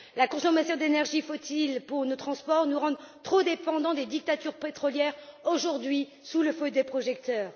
La consommation d'énergie nécessaire pour nos transports nous rend trop dépendants des dictatures pétrolières, aujourd'hui sous le feu des projecteurs.